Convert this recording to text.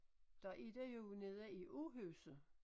Der er der jo nede i Åhuset